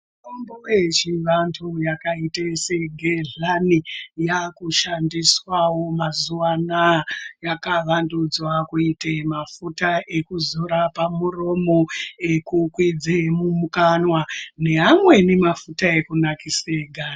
Mitombo yechivantu yakaita segedhlani yakushandiswawo mazuvanaya yakavandudzwa kuita mafuta ekudzora pamuromo ekukwidze mukanwa nemamweni mafuta ekunasira ganda.